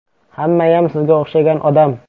Hammayam sizga o‘xshagan odam.